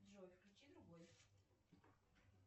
джой включи другой